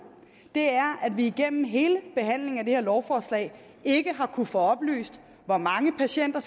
er at vi igennem hele behandlingen af det her lovforslag ikke har kunnet få oplyst hvor mange patienter